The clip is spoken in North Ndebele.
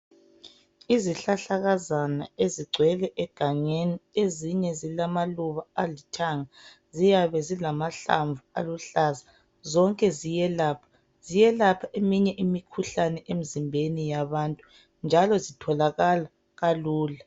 Izihlahlakazana ezigcwele egangeni ezinye zilamaluba alithanga ziyabe zilamahlamvu aluhlaza zonke ziyelapha ziyelapha eminye imikhuhlane emzimbeni yabantu njalo zitholakala kalula.